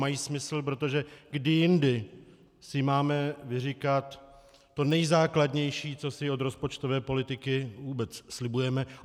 Mají smysl, protože kdy jindy si máme vyříkat to nejzákladnější, co si od rozpočtové politiky vůbec slibujeme?